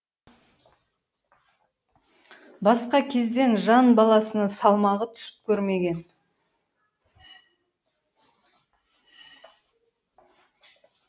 басқа кезде жан баласына салмағы түсіп көрмеген